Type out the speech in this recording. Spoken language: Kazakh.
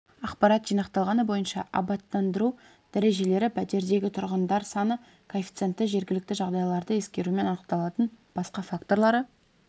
ақпарат жинақталғаны бойынша абаттандыру дәрежелері пәтердегі тұрғындар саны коэффициенті жергілікті жағдайларды ескерумен анықталатын басқа факторлары